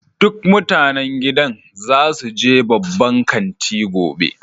Duk mutanen gidan za su je babban kanti gobe.